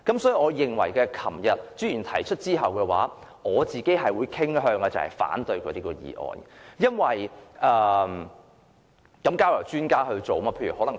所以，昨天朱議員提出議案後，我傾向反對他的議案，因為這些事情應該交由專家處理。